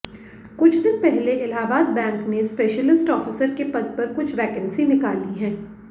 कुछ दिन पहले इलाहाबाद बैंक ने स्पेशिलिस्ट ऑफिसर के पद पर कुछ वैकेंसी निकाली हैं